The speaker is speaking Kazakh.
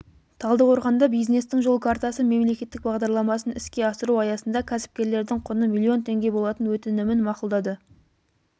талдықорғанда бизнестің жол картасы мемлекеттік бағдарламасын іске асыру аясында кәсіпкерлердің құны миллион теңге болатын өтінімін мақұлдады